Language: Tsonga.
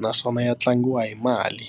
naswona ya tlangiwa hi mali.